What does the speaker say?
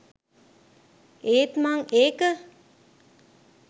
ඒත් මං ඒක